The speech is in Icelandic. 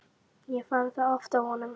Ég fann það oft á honum.